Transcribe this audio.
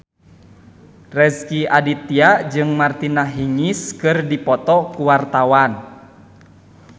Rezky Aditya jeung Martina Hingis keur dipoto ku wartawan